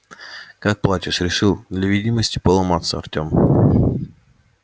как платишь решил для видимости поломаться артем